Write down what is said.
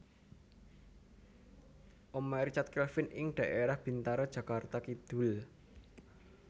Omahe Richard Kevin ing dhaerah Bintaro Jakarta Kidul